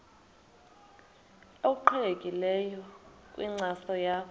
obuqhelekileyo kwinkcazo yakho